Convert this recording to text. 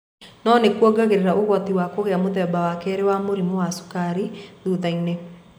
No nĩ kũongeranga ũgwati wa kũgĩa mũthemba wa kerĩ wa mũrimũ wa cukari thũthainĩ.